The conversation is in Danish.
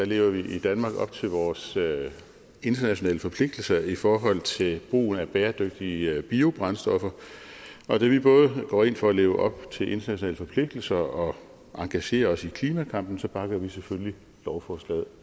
lever vi i danmark op til vores internationale forpligtelser i forhold til brugen at bæredygtige biobrændstoffer og da vi både går ind for at leve op til internationale forpligtelser og engagerer os i klimakampen bakker vi selvfølgelig lovforslaget